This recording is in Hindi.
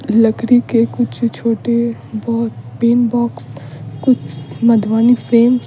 लकड़ी के कुछ छोटे ब पेन बॉक्स कुछ मधवानी फ्लेम्स --